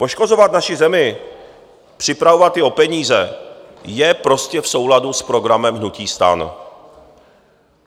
Poškozovat naši zemi, připravovat ji o peníze je prostě v souladu s programem hnutí STAN.